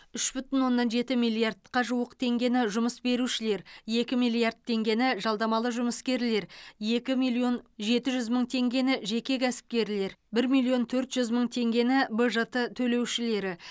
үш бүтін оннан жеті миллиардқа жуық теңгені жұмыс берушілер екі миллиард теңгені жалдамалы жұмыскерлер екі миллион жеті жүз мың теңгені жеке кәсіпкерлер бір миллион төрт жүз мың теңгені бжт төлеушілері